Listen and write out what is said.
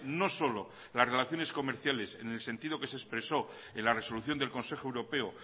no solo las relaciones comerciales en el sentido que se expresó en la resolución del consejo europeo